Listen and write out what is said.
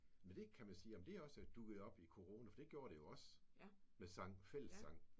Ved det kan man sige. Om det også er dukket op i corona for det gjorde det jo også med sang. Fællessang